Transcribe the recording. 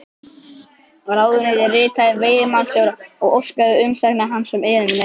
Ráðuneytið ritaði veiðimálastjóra og óskaði umsagnar hans um erindi mitt.